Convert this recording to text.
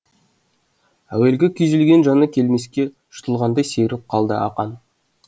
әуелгі күйзелген жаны келмеске жұтылғандай сергіп қалды ақан